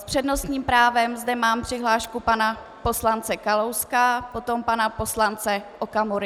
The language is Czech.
S přednostním právem zde mám přihlášku pana poslance Kalouska, potom pana poslance Okamury.